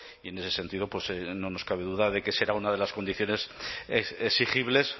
y en ese sentido pues no nos cabe duda de que será una de las condiciones exigibles